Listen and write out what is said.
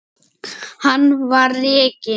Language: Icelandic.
Hann var rekinn.